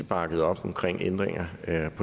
bakker